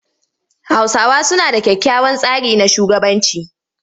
Hausawa suna da kyakkyawan tsari na shugabanci.